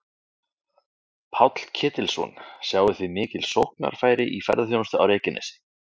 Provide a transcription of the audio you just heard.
Páll Ketilsson: Sjáið þið mikil sóknarfæri í ferðaþjónustu á Reykjanesi?